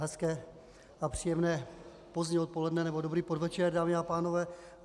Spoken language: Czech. Hezké a příjemné pozdní odpoledne nebo dobrý podvečer, dámy a pánové.